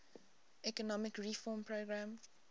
economic reform program